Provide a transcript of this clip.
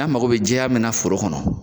An mako be jɛya mun na foro kɔnɔ